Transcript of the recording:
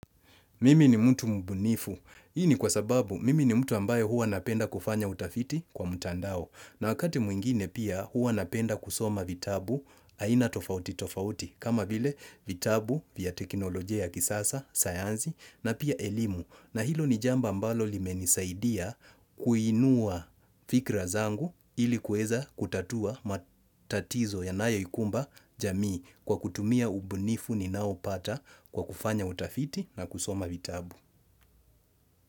Mimi ni mtu mbunifu. Hii ni kwasababu, mimi ni mtu ambaye huwa napenda kufanya utafiti kwa mtandao. Na wakati mwingine pia huwa napenda kusoma vitabu aina tofauti tofauti. Kama vile vitabu vya teknolojia ya kisasa, sayansi, na pia elimu. Na hilo ni jambo ambalo limenisaidia kuinua fikra zangu ili kuweza kutatua matatizo yanayoikumba jamii kwa kutumia ubunifu ninaoupata kwa kufanya utafiti na kusoma vitabu.